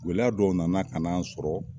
Gɛlɛya dɔw nana ka na an sɔrɔ